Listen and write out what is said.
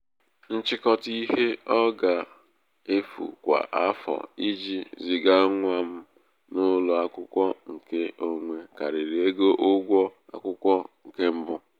nchịkọta ihe ọ ga-efu kwa afọ iji ziga nwa m n'ụlọ akwụkwọ nke onwe karịrị égo ụgwọ akwụkwọ nke mbụ.